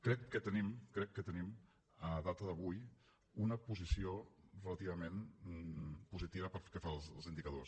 crec que tenim crec que la tenim a data d’avui una posició relativament positiva pel que fa als indicadors